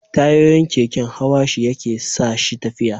Tayoyin keken hawa shi yake sa shi tafiya